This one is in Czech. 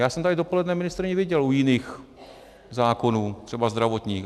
Já jsem tady dopoledne ministryni viděl u jiných zákonů, třeba zdravotních.